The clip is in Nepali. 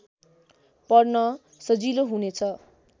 पढ्न सजिलो हुनेछ